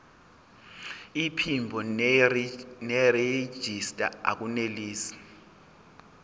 iphimbo nerejista akunelisi